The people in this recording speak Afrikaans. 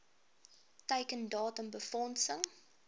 teiken datum befondsing